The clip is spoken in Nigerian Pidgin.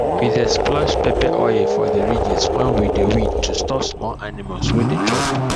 we dey splash pepper oil for the ridges when we dey weed to stop small animals wey dey chop